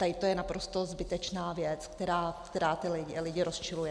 Tady to je naprosto zbytečná věc, která ty lidi rozčiluje.